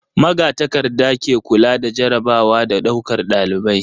Magatakarda ke kula da jarrabawa da ɗaukar ɗalibai.